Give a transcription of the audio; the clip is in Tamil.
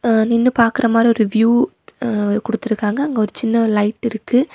அ நின்னு பாக்குற மாறி ஒரு வியூ அ குடுத்துருக்காங்க அங்க ஒரு சின்ன லைட் இருக்கு